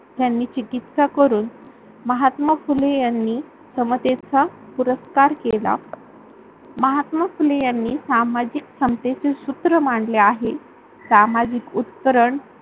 त्यांनी चिकित्सा करून महात्मा फुले यांनी समतेचा पुरस्कार केला. महात्मा फुले यांनी समाजिक समतेचे सूत्र मांडले आहे. समाजिक उपकरण